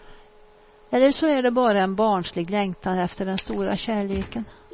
Eller så är det bara en barnslig längtan efter den stora kärleken.